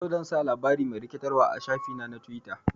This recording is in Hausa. Yau, zan sa labari mai rikitarwa a shafi na na twita.